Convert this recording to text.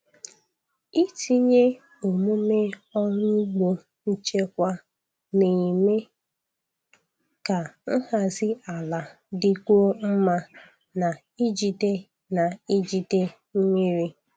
Itinye omume ọrụ ugbo nchekwa na-eme ka nhazi ala dịkwuo mma na ijide na ijide mmiri.